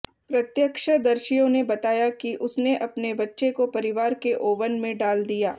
प्रत्यक्षदर्शियों ने बताया कि उसने अपने बच्चे को परिवार के ओवन में डाल दिया